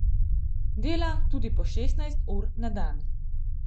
Dela tudi po šestnajst ur na dan.